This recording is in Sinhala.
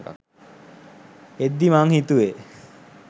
එද්දි මං හිතුවෙ